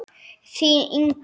Þín, Inga.